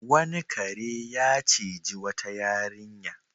Wani kare ya ciji wata yarinya.